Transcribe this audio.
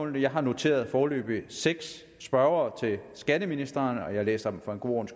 jeg har noteret foreløbig seks spørgere til skatteministeren og jeg læser dem for god